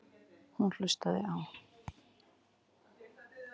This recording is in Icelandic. Hún hlustaði á